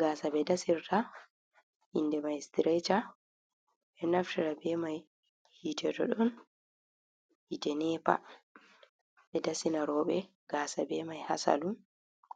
Gasa ɓe ɗasirta inde mai sitiresha ɓe ɗo naftara be mai hite to don hite nepa ɓe dasina roɓe gasa be mai hasalun